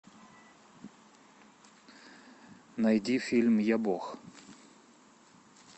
найди фильм я бог